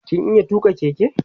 kin iya tuka Keke?